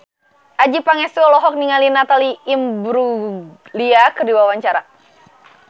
Adjie Pangestu olohok ningali Natalie Imbruglia keur diwawancara